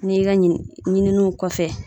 N'i ka ɲini, ɲininiw kɔfɛ